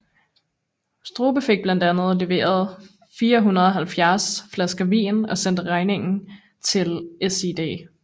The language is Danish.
Strube fik blandt andet leveret 470 flasker vin og sendte regningen til SiD